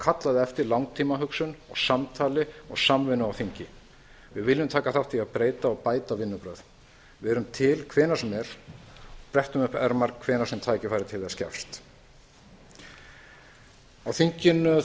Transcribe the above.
kallað eftir langtímahugsun samtali og samvinnu á þingi við viljum taka þátt í að breyta og bæta vinnubrögðin við erum til hvenær sem er brettum upp ermar hvenær sem tækifæri til þess gefst á